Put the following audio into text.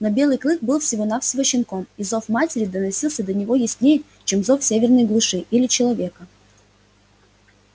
но белый клык был всего навсего щенком и зов матери доносился до него яснее чем зов северной глуши или человека